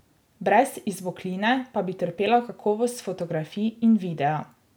Brez izbokline pa bi trpela kakovost fotografij in videa.